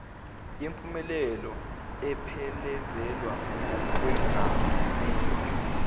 yempumelelo ephelezelwa wukwengamela